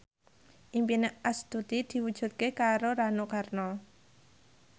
impine Astuti diwujudke karo Rano Karno